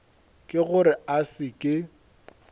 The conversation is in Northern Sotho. ke gore a se ke